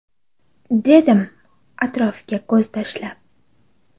dedim atrofga ko‘z tashlab.